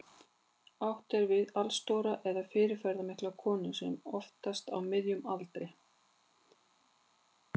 Átt er við allstóra eða fyrirferðarmikla konu, oftast á miðjum aldri.